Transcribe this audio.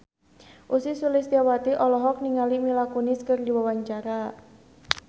Ussy Sulistyawati olohok ningali Mila Kunis keur diwawancara